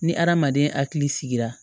Ni adamaden hakili sigira